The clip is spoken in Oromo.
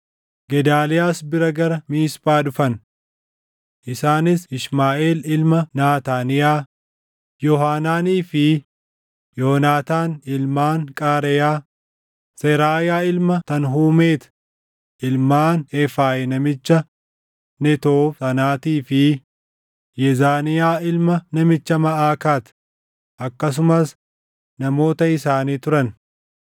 Gedaaliyaas bira gara Miisphaa dhufan. Isaanis Ishmaaʼeel ilma Naataaniyaa, Yoohaanaanii fi Yoonaataan ilmaan Qaareyaa, Seraayaa ilma Tanhumeeti, ilmaan Eefayi namicha Netoof sanaatii fi Yezaaniyaa ilma namicha Maʼakaat, akkasumas namoota isaanii turan.